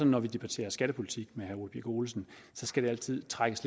når vi debatterer skattepolitik med herre ole birk olesen skal det altid trækkes